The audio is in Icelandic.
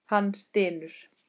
Hann stynur.